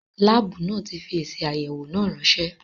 Láàbù náà tí fi èsì àyẹ̀wọ̀ náà ránsẹ́